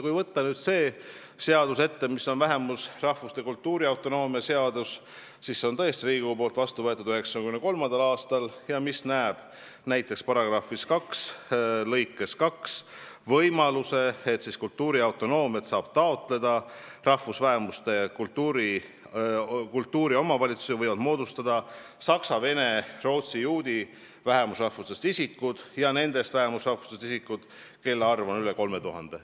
Kui võtta ette vähemusrahvuse kultuuriautonoomia seadus, mille on Riigikogu vastu võtnud 1993. aastal, siis see näeb näiteks § 2 lõikes 2 ette võimaluse, et vähemusrahvuse kultuuriomavalitsusi võivad moodustada saksa, vene, rootsi ja juudi vähemusrahvusest isikud ja nendest vähemusrahvustest isikud, kelle arv on üle 3000.